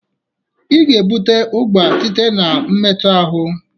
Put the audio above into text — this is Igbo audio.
Ị ga-ebute ụgwọ site na mmetu ahụ.